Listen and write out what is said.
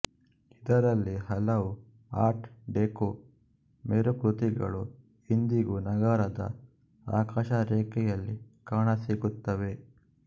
ಇದರಲ್ಲಿ ಹಲವು art deco ಮೇರುಕೃತಿಗಳು ಇಂದಿಗೂ ನಗರದ ಆಕಾಶರೇಖೆಯಲ್ಲಿ ಕಾಣಸಿಗುತ್ತವೆ